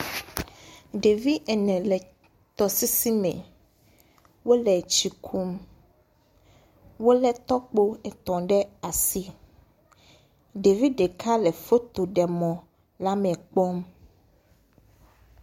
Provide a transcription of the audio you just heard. Ɖevi ene le tɔsisi me. Wole tsi kum. Wolé tɔkpo etɔ̃ ɖe asi. Ɖevi ɖeka le fotoɖemɔ la me kpɔm.